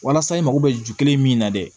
Walasa i mago bɛ ju kelen min na dɛ